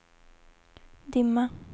dimma